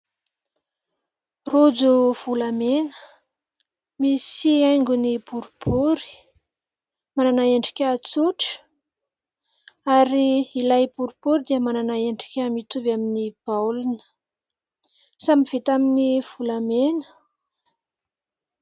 Rojo volamena, misy aingony boribory, manana endrika tsotra, ary ilay boribory dia manana endrika mitovy amin'ny baolina samy vita amin'ny volamena